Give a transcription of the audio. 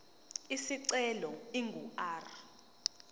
isicelo ingu r